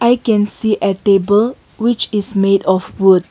i can see a table which is made of wood.